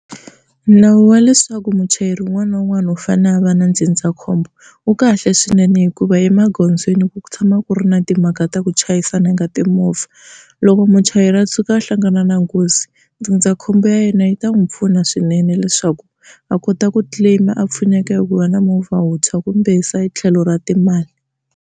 Nawu wa leswaku muchayeri wun'wana na wun'wana u fane a va na ndzindzakhombo wu kahle swinene hikuva emagondzweni ku tshama ku ri na timhaka ta ku chayisana ka timovha. Loko muchayeri a tshuka a hlangane na nghozi ndzindzakhombo ya yena yi ta n'wi pfuna swinene leswaku a kota ku claim a pfuneka hi ku va na movha wuntshwa kumbe se hi tlhelo ra timali.